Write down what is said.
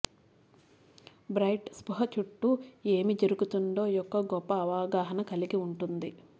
bright స్పృహ చుట్టూ ఏమి జరుగుతుందో యొక్క గొప్ప అవగాహన కలిగి ఉంటుంది